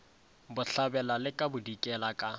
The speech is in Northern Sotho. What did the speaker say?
bohlabela le ka bodikela ka